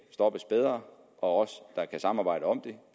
stoppes bedre og også at der kan samarbejdes om